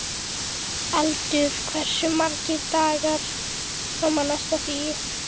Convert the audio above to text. Eldur, hversu margir dagar fram að næsta fríi?